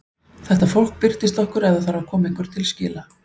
Þetta fólk birtist okkur ef það þarf að koma einhverju til skila.